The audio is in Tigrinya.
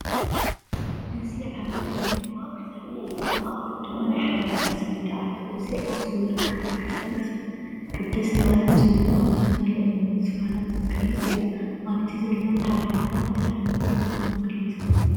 እዚ ዓቢ ናይ እምኒ መዋቕር ዘርኢ እዩ። ኣብ ማእኸሉ ድማ ናይ ሓበሬታ ሰሌዳ ኣሎ። እዚ ኣብ ኣኽሱም ዝርከብ ቤተ ክርስቲያን ቅድስት ማርያም ጽዮንን ኣብ ውሽጡ ዘሎ እምኒ ዝፋናት ዝገልጽ እዩ። ኣብቲ ዘሎ ሓበሬታ እንታይ ዓይነት ታሪኽ ዝውክል ይመስለኩም?